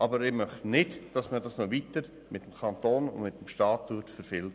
Aber ich möchte nicht, dass man es mit dem Kanton und mit dem Staat noch weiter verfilzt.